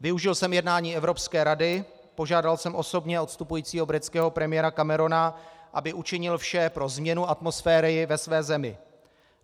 Využil jsem jednání Evropské rady, požádal jsem osobně odstupujícího britského premiéra Camerona, aby učinil vše pro změnu atmosféry ve své zemi.